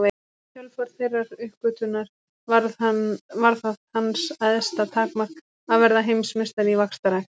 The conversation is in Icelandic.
Í kjölfar þeirrar uppgötvunar varð það hans æðsta takmark að verða heimsmeistari í vaxtarrækt.